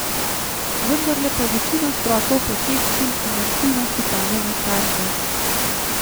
Vendarle pa večina strokov potrebščin in aktivnosti pade na starše.